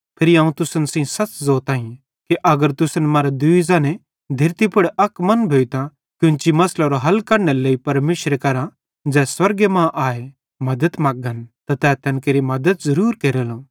फिरी अवं तुसन सेइं सच़ ज़ोताईं कि अगर तुसन मरां दूई ज़ने धेरती पुड़ अक मन भोइतां कोन्ची मसलेरे हल कढनेरे लेइ परमेशरे करां ज़ै स्वर्गे मां आए मद्दत मगन त तै तैन केरि मद्दत ज़रूर केरेलो